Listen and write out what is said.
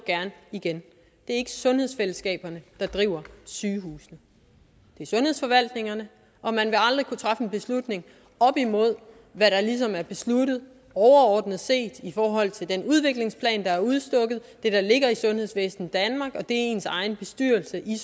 igen det er ikke sundhedsfællesskaberne der driver sygehusene det er sundhedsforvaltningerne og man vil aldrig kunne træffe en beslutning op imod hvad der ligesom er besluttet overordnet set i forhold til den udviklingsplan der er udstukket det der ligger i sundhedsvæsen danmark og det ens egen bestyrelse i